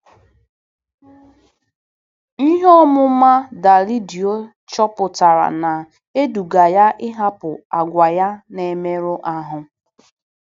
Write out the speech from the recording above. Ihe ọmụma Dalídio chọpụtara na-eduga ya ịhapụ àgwà ya na-emerụ ahụ.